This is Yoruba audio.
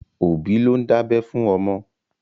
Òbí ló ń dábẹ́ fún ọmọ.